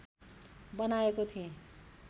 बनाएको थिएँ